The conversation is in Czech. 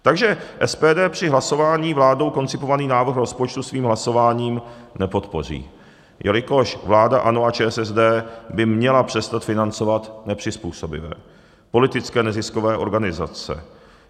Takže SPD při hlasování vládou koncipovaný návrh rozpočtu svým hlasováním nepodpoří, jelikož vláda ANO a ČSSD by měla přestat financovat nepřizpůsobivé, politické neziskové organizace.